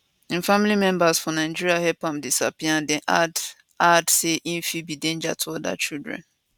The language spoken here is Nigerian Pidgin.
im family members for nigeria help am disappear and dem add add say im fit be danger to oda children